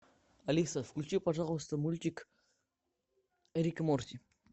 алиса включи пожалуйста мультик рик и морти